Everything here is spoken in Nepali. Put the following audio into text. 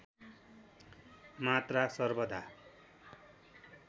मात्रा सर्वदा